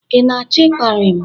ị na-achọ ịkparị m?